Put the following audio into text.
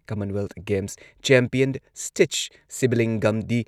Commonwealth games champion ꯁ꯭ꯇꯤꯠꯆ ꯁꯤꯕꯂꯤꯡꯒꯝꯗꯤ